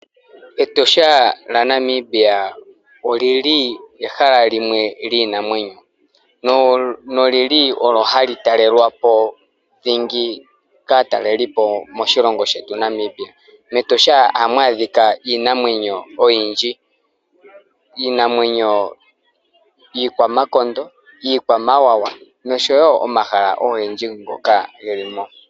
Etosha lyaNamibia oli li ehala limwe lyiinamwenyo. Olyo hali talelwa po dhingi kaatalelipo moshilongo shetu Namibia. MEtosha ohamu adhika iinamwenyo oyindji. Iinamwenyo iikwamakondo, iikwamawawa noshowo omahala ogendji ngoka ge li mo.